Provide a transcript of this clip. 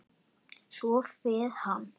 Svo fer hann.